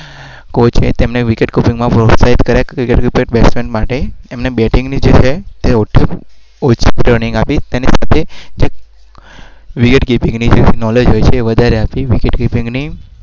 goal છે એ